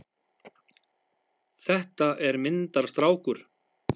Þetta er myndarstrákur!